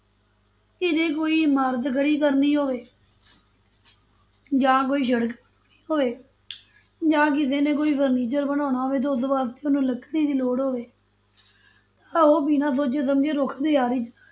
ਕਿਤੇ ਕੋਈ ਇਮਾਰਤ ਖੜੀ ਕਰਨੀ ਹੋਵੇ ਜਾਂ ਕੋਈ ਸੜਕ ਬਣਾਉਣੀ ਹੋਵੇ ਜਾਂ ਕਿਸੇ ਨੇ ਕੋਈ furniture ਬਣਾਉਣਾ ਹੋਵੇ ਤੇ ਉਸ ਵਾਸਤੇ ਉਹਨੂੰ ਲੱਕੜੀ ਦੀ ਲੋੜ ਹੋਵੇ ਤਾਂ ਉਹ ਬਿਨਾਂ ਸੋਚੇ ਸਮਝੇ ਰੁੱਖ ਤੇ ਆਰੀ ਚਲਾ